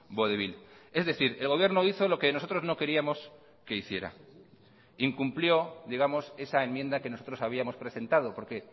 vodevil es decir el gobierno hizo lo que nosotros no queríamos que hiciera incumplió digamos esa enmienda que nosotros habíamos presentado porque